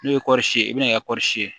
N'o ye kɔɔri ye i bɛna kɛ kɔri ye